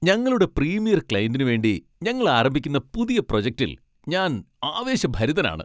ഞങ്ങളുടെ പ്രീമിയർ ക്ലയന്റിനു വേണ്ടി ഞങ്ങൾ ആരംഭിക്കുന്ന പുതിയ പ്രൊജക്റ്റിൽ ഞാൻ ആവേശഭരിതനാണ്.